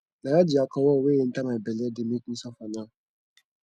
na all the alcohol wey enter my bele dey make me suffer now